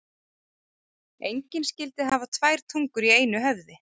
Engin skyldi hafa tvær tungur í einu höfði.